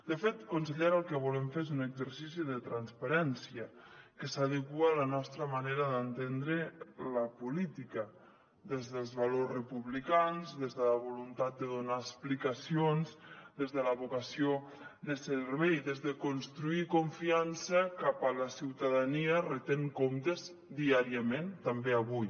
de fet consellera el que volem fer és un exercici de transparència que s’adequa a la nostra manera d’entendre la política des dels valors republicans des de la voluntat de donar explicacions des de la vocació de servei des de construir confiança cap a la ciutadania retent comptes diàriament també avui